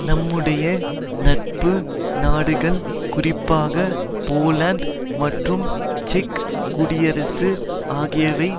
நம்முடைய நட்பு நாடுகள் குறிப்பாக போலந்து மற்றும் செக் குடியரசு ஆகியவை